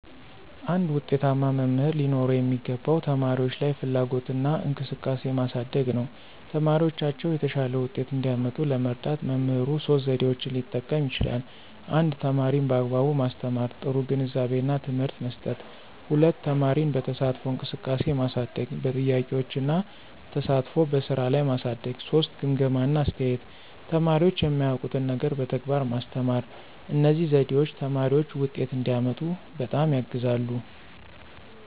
አንድ ዉጤታማ መምህር ሊኖረው የሚገባው ተማሪዎች ላይ ፍላጎትና እንቅስቃሴ ማሳደግ ነው። ተማሪዎቻቸው የተሻለ ውጤት እንዲያመጡ ለመርዳት መምህሩ ሶስት ዘዴዎችን ሊጠቀም ይችላል 1) ተማሪን በአግባቡ ማስተማር – ጥሩ ግንዛቤና ትምህርት መስጠት፣ 2) ተማሪን በተሳትፎ እንቅስቃሴ ማሳደግ – በጥያቄዎች እና ተሳትፎ በስራ ላይ ማሳደግ፣ 3) ግምገማ እና አስተያየት – ተማሪዎች የማያውቁትን ነገር በተግባር ማስተማር። እነዚህ ዘዴዎች ተማሪዎች ውጤት እንዲያመጡ በጣም ያግዛሉ።